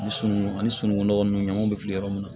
Misimu ani sunugun nɔgɔ nun ɲamanw bɛ fili yɔrɔ min na